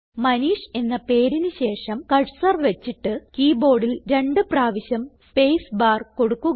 മനീഷ് എന്ന പേരിന് ശേഷം കർസർ വച്ചിട്ട് കീ ബോർഡിൽ രണ്ട് പ്രാവശ്യം സ്പേസ്ബാർ കൊടുക്കുക